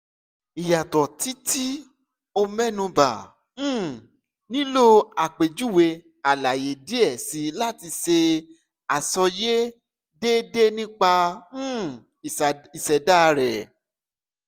iyatọ ti ti o mẹnuba um nilo apejuwe alaye diẹ sii lati ṣe asọye deede nipa um iseda rẹ